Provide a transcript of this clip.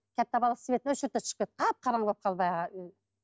өшірді де шығып кетті қап қараңғы болып қалды